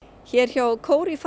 hér hjá